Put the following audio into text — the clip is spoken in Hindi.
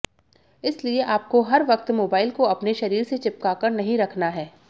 इसलिए आपको हर वक्त मोबाइल को अपने शरीर से चिपकाकर नहीं रखना है